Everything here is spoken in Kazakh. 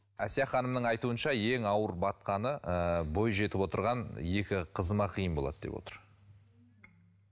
әсия ханымның айтуынша ең ауыр батқаны ыыы бойжетіп отырған екі қызыма қиын болады деп отыр